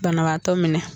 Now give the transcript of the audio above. Banabaatɔ minɛ